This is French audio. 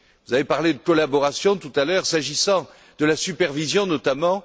Vous avez parlé de collaboration tout à l'heure, s'agissant de la supervision, notamment.